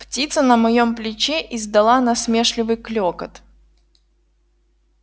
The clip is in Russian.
птица на моем плече издала насмешливый клёкот